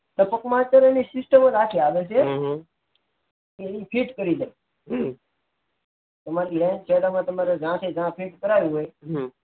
ટપક માં આજ પ્રકારની system જ આખી હાલે છે એ ફીટ કરી જાય તમાર જ્યાં ફીટ કરાવી હોય